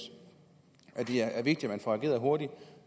at det er vigtigt at man får ageret hurtigt og